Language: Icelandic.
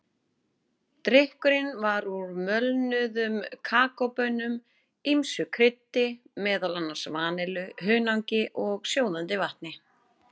Drykkurinn var úr möluðum kakóbaunum, ýmsu kryddi, meðal annars vanillu, hunangi og sjóðandi vatni.